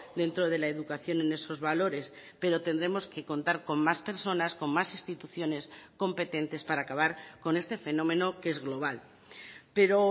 dentro de la educación en esos valores pero tendremos que contar con más personas con más instituciones competentes para acabar con este fenómeno que es global pero